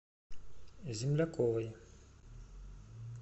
земляковой